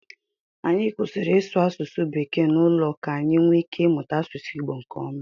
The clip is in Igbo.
Anyị kwụsịrị ịsụ asụsụ bekee n'ụlọ ka anyị nwee ike ịmụta asụsụ Igbo nkeọma.